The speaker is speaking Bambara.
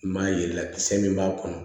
I m'a yela kisɛ min b'a kɔnɔ